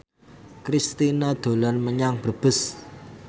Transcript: Kristina dolan menyang Brebes